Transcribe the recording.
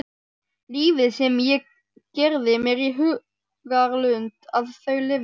Lífið sem ég gerði mér í hugarlund að þau lifðu.